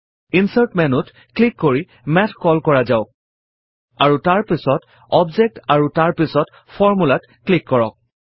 insert মেন্যুত click কৰি math call কৰা যাওক আৰু তাৰ পাছত অবজেক্ট আৰু তাৰ পাছত Formula ত ক্লিক কৰক